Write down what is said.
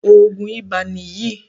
Òògùn ibà ni yìí.